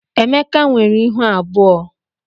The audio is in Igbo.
Emeka nwere ịhụ abụọ.